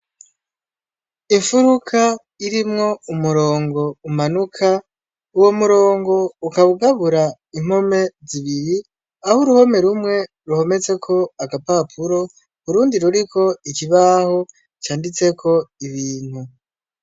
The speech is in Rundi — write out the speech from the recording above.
Infuruka irimwo umurongo umanuka, uwo murongo ukaba ugabura impome zibiri, aho uruhome rumwe ruhometseko agapapuro urundi ruriko ikibaho canditseko ibintu.